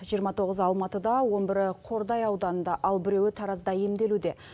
жиырма тоғызы алматыда он бірі қордай ауданында ал біреуі таразда емделуде